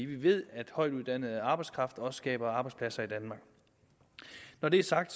vi ved at højtuddannet arbejdskraft også skaber arbejdspladser i danmark når det er sagt